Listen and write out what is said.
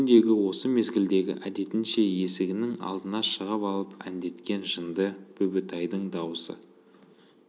күндегі осы мезгілдегі әдетінше есігінің алдына шығып алып әндеткен жынды бүбітайдың даусы